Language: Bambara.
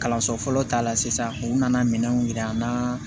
Kalanso fɔlɔ ta la sisan u nana minɛnw jira an na